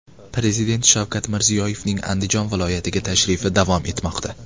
Prezident Shavkat Mirziyoyevning Andijon viloyatiga tashrifi davom etmoqda.